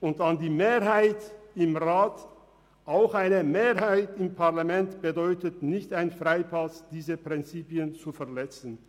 Und an die Mehrheit im Rat: Auch eine Mehrheit im Parlament ist kein Freipass, diese Prinzipien zu verletzen.